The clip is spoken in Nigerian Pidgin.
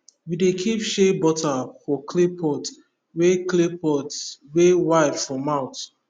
we dey keep shea butter for clay pot wey clay pot wey wide for mouth